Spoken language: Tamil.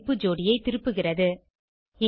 keyமதிப்பு ஜோடியை திருப்புகிறது